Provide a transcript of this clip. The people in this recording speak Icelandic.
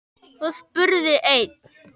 Svo spurði einn